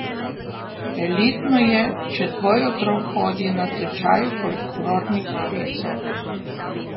Elitno je, če tvoj otrok hodi na tečaj folklornih plesov.